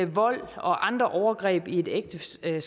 vold og andre overgreb i et ægteskab